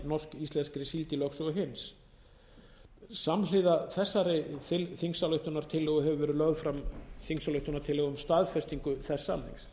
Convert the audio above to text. norski íslenskri síld í lögsögu hins samhliða þessari þingsályktunartillögu hefur verið lögð fram þingsályktunartillaga um staðfestingu þess samnings